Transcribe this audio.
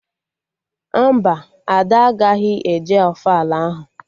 Mba, Ada agaghị eje ofala ahụ